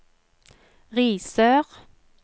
Risør